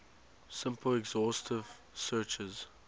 simple exhaustive searches